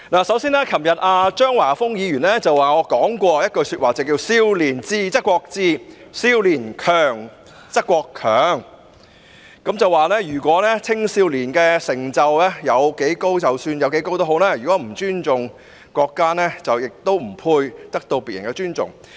首先，昨天張華峰議員提到我說過一句話："少年智則國智，少年強則國強"，他藉此指出青少年的成就即使有多高，如果不尊重國家，亦不配得到別人的尊重。